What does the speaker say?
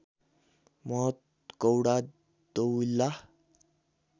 महत गौडा दोविल्ला